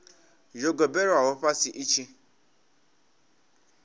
yo gobelelwaho fhasi i tshi